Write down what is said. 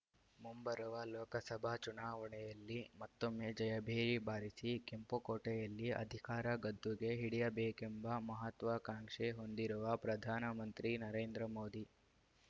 ಮುಂಬರುವ ಲೋಕಸಭಾ ಚುನಾವಣೆಯಲ್ಲಿ ಮತ್ತೊಮ್ಮೆ ಜಯಭೇರಿ ಬಾರಿಸಿ ಕೆಂಪುಕೋಟೆಯಲ್ಲಿ ಅಧಿಕಾರ ಗದ್ದುಗೆ ಹಿಡಿಯಬೇಕೆಂಬ ಮಹತ್ವಾಕಾಂಕ್ಷೆ ಹೊಂದಿರುವ ಪ್ರಧಾನ ಮಂತ್ರಿ ನರೇಂದ್ರ ಮೋದಿ